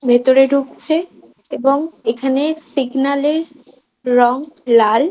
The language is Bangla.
ভেতরে ঢুকছে এবং এখানে সিগন্যাল -এর রং লাল।